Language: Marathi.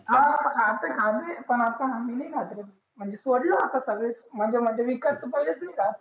हा खाते हल्ली पण आता नाही खात. म्हणजे सोडलं आता सगळ्यांनी, म्हणजे म्हणजे मी विकास तर पहिलेच नाही खात.